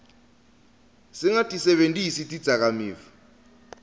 singatisebentisi tidzakamiva